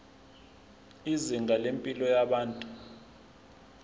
izinga lempilo yabantu